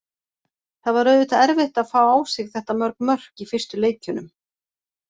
Það var auðvitað erfitt að fá á sig þetta mörg mörk í fyrstu leikjunum.